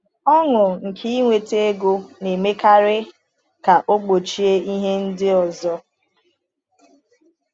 Ọṅụ nke inweta ego na-emekarị ka ọ gbochie ihe ndị ọzọ.